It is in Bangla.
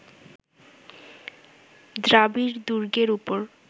দ্রাবিড়-দুর্গের ওপর